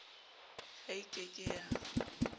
ha e ke ke ya